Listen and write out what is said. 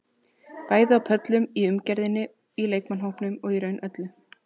Bæði á pöllunum, í umgjörðinni, í leikmannahópnum og í raun öllu.